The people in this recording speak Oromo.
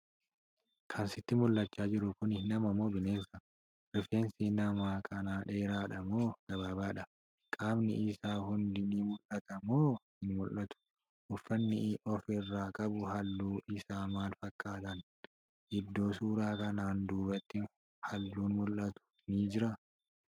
Kan sitti mul'achaa jiru Kuni nama moo bineensa?.rifeensi nama kanaa dheeraadha moo gabaabaadha?.qaamni Isaa hundi ni mul'ata moo hin mul'atu?.uffanni inni ofirraa qabu halluun Isaa maal fakkaatan?.iddoo suuraa kanaan duubatti halluun mul'atu ni jiraa?.